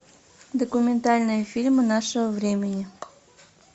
документальные фильмы нашего времени